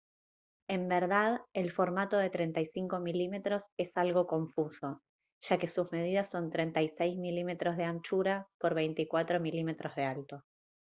en verdad el formato de 35 mm es algo confuso ya que sus medidas son 36 mm de anchura por 24 mm de alto